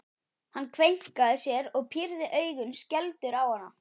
Hann kveinkaði sér og pírði augun skelfdur á hana.